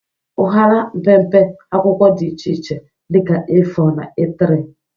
Ụhara mpempe akwụkwọ dị iche iche dị ka A4 na A3.